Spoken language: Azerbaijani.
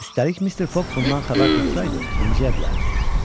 Üstəlik Mister Foq bundan xəbər tutsaydı, incəyə bilərdi.